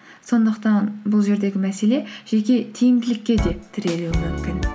сондықтан бұл жердегі мәселе жеке тиімділікке де тірелуі мүмкін